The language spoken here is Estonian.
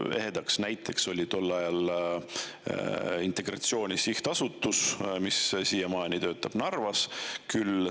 Ehe näide oli tol ajal Integratsiooni Sihtasutus, mis siiamaani töötab Narvas.